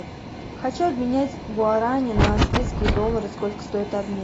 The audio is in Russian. хочу обменять гуарани на австрийские доллары сколько стоит обмен